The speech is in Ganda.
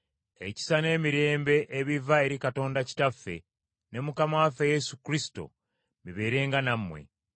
ekisa n’emirembe ebiva eri Katonda Kitaffe ne Mukama waffe Yesu Kristo, bibeerenga nammwe.